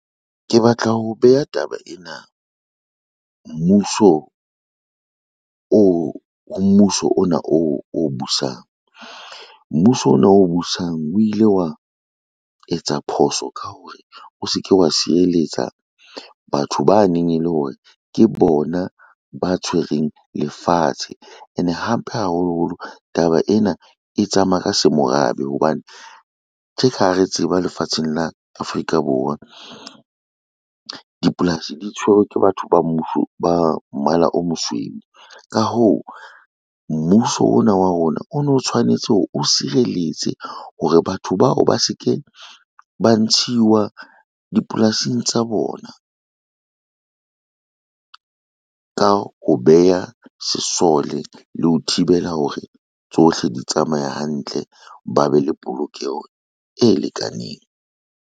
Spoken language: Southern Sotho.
Ke batla ho beha taba ena ho mmuso ona o busang. Mmuso ona o busang o ile wa etsa phoso ka hore o se ke wa sireletsa batho ba neng e le hore ke bona ba tshwereng lefatshe ene hape haholoholo taba ena e tsamaya ka se morabe, hobane tje ka ha re tseba lefatsheng la Afrika Borwa dipolasi di tshwerwe ke batho ba mmala o mosweu. Ka hoo, mmuso ona wa rona o no tshwanetse hore o sireletse hore batho bao ba se ke ba ntshiwa dipolasing tsa bona, ka ho beha sesole le ho thibela hore tsohle di tsamaya hantle, ba be le polokeho e lekaneng.